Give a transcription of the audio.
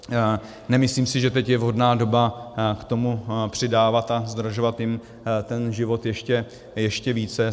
Nemyslím si, že teď je vhodná doba k tomu přidávat a zdražovat jim ten život ještě více.